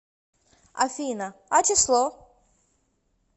афина а число